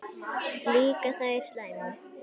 Líka þær slæmu.